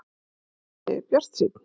Sindri: Bjartsýnn?